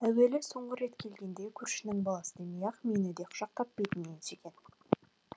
әуелі соңғы рет келгенде көршінің баласы демей ақ мені де құшақтап бетімнен сүйген